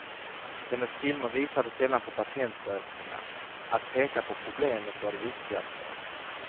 Hennes filmer visade sällan på patentlösningar, att peka på problemet var det viktigaste.